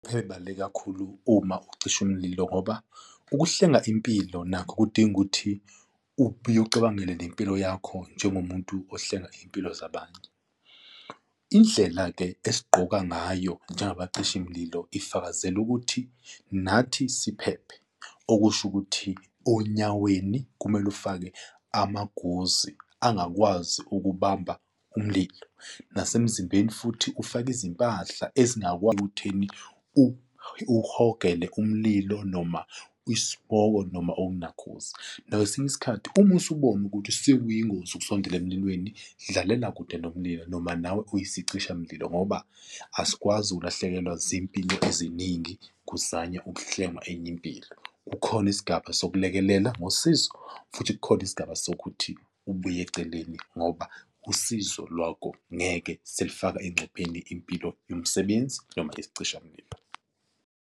Ey'baluleke kakhulu uma ukucisha imililo ngoba ukuhlenga impilo nakho kudinga ukuthi ubuye ucabangele nempilo yakho njengomuntu ohlenga iy'mpilo zabanye. Indlela-ke esigqoka ngayo njengabacishimlilo ifakazela ukuthi nathi siphephe, okusho ukuthi onyaweni kumele ufake amaguzi angakwazi ukubamba umlilo, nasemzimbeni futhi ufake izimpahla ezingakwazi ekutheni uhogele umlilo, noma ispoko noma onakhuza. Nakwesinye isikhathi uma usubona ukuthi sekuyingozi ukusondela emlilweni, dlalela kude nomlilo noma nawe uyisicishamlilo ngoba asikwazi ukulahlekelwa zimpilo eziningi kuzanywa ukuhlenga enye impilo, kukhona isigaba sokulekelela ngosizo futhi kukhona isigaba sokuthi ubuye eceleni ngoba usizo lwakho ngeke selifaka encupheni impilo yomsebenzi noma isicishamlio.